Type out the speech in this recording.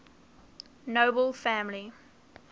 nobel family